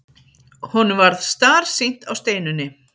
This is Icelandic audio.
Honum varð starsýnt á Steinunni.